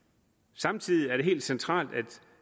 samtidig er det helt centralt at